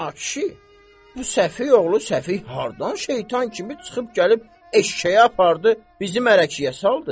Ay kişi, bu Səfi oğlu Səfi haradan şeytan kimi çıxıb gəlib eşşəyi apardı bizim mələkiyə saldı.